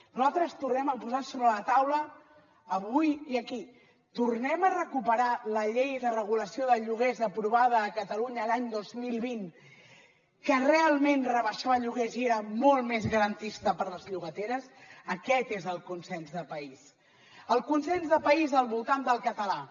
nosaltres tornem a posar sobre la taula avui i aquí tornem a recuperar la llei de regulació de lloguers aprovada a catalunya l’any dos mil vint que realment rebaixava lloguers i era molt més garantista per a les llogateres aquest és el consens de país el consens de país al voltant del català